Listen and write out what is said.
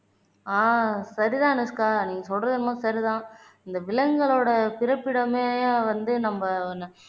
ஆஹ் சரி தானே அனுஷ்கா நீங்க சொல்றது என்னமோ சரிதான் இந்த விலங்குகளோட பிறப்பிடமே வந்து நம்ம